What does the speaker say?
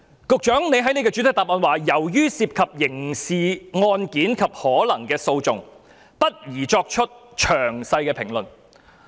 局長在主體答覆表示，由於涉及刑事案件及可能提起的訴訟，不宜作出詳細評論。